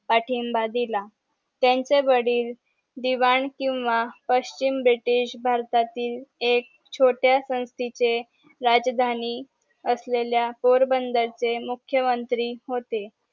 पाठिम्बा दिला त्यांचे वडील दिवाण किंवा पश्चिम ब्रिटिश भारतातील एक छोट्या संस्थीचे राजधानी असलेल्या पोरबंदर चे मुख्यमंत्री होते